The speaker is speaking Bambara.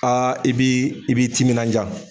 A i b'i i b'i timinanja.